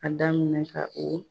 A daminɛ ka o